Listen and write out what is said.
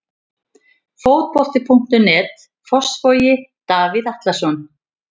Fótbolti.net, Fossvogi- Davíð Atlason.